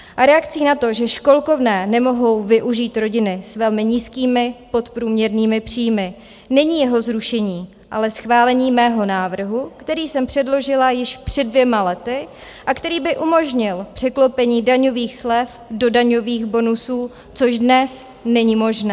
A reakcí na to, že školkovné nemohou využít rodiny s velmi nízkými, podprůměrnými příjmy, není jeho zrušení, ale schválení mého návrhu, který jsem předložila již před dvěma lety a který by umožnil překlopení daňových slev do daňových bonusů, což dnes není možné.